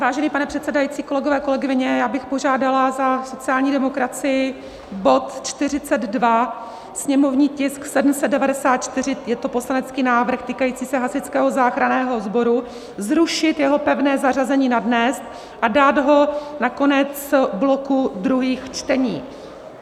Vážený pane předsedající, kolegové, kolegyně, já bych požádala za sociální demokracii bod 42, sněmovní tisk 794, je to poslanecký návrh týkající se Hasičského záchranného sboru, zrušit jeho pevné zařazení na dnes a dát ho na konec bloku druhých čtení.